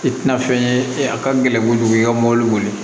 I tina fɛn ye a ka gɛlɛn kojugu i ka mɔbili boli